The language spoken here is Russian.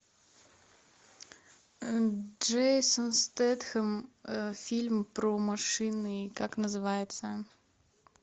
джейсон стэтхэм фильм про машины как называется